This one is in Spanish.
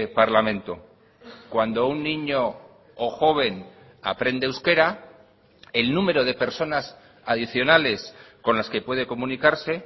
parlamento cuando un niño o joven aprende euskera el número de personas adicionales con las que puede comunicarse